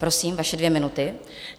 Prosím, vaše dvě minuty.